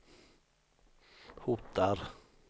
hotar